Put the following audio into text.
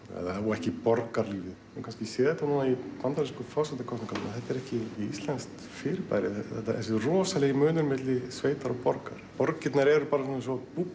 ekki borgarlífið við kannski séð þetta núna í bandarísku forsetakosningunum að þetta er ekki íslenskt fyrirbæri þessi rosalegi munur milli sveitar og borgar borgirnar eru eins og